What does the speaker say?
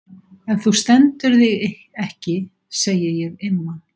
Ef þú stendur þig ekki segi ég Imma.